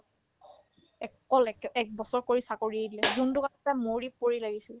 অকল একে ~ একবছৰ কৰি চাকৰি এৰি দিলে যোনতো কাৰণে তাই মৰি পৰি লাগিছিলে